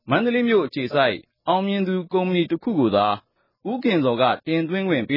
မန္တလေးမြို့ အခြေစိုက် ‘အောင်မြင်သူ’ ကုမ္ပဏီ တခုတည်းကိုသာ နယ်ကျော် တင်သွင်းခွင့် ပေ